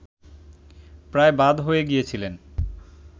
প্রায় বাদ হয়ে গিয়েছিলেন